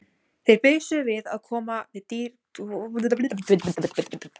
Þeir bisuðu við að koma dýrinu upp í fjöruna og gekk það framar vonum.